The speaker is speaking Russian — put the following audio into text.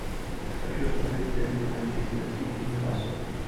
хочу смотреть дерби манчестер сити ньюкасл